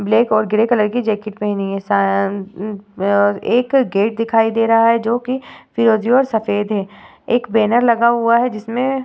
Black और grey colour की jacket पहनी हुई है। अम्म्म एक गेट दिखाई दे रहा है जोकि फिरोज़ी और सफ़ेद है। एक बैनर लगा हुआ है जिसमें ---